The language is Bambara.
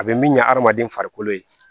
A bɛ min ɲɛ adamaden farikolo ye